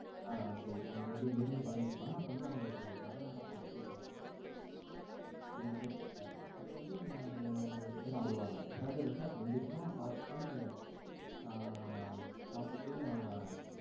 ஆ சரி அந்த நெருங்கி பழகிட்டு இருந்தாங்க. அப்போ வந்து அவங்களுக்கு நடனா போட்டி நடக்கும். ரெண்டு பேரும் சேர்ந்து ஆடுற மாதிரி அப்போ வந்து அப்போ வந்து இவங்க ரெண்டு பேரு ஆடுவாங்க. Brother வந்து அப்போ வந்து இருப்பான். பாத்துட்டு ஆஅ பாத்துட்டு அவன்